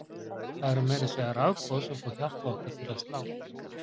það eru meira að segja rafboð sem fá hjartað okkar til að slá!